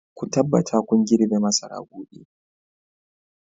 Ku tabbata kun girbe masara gobe!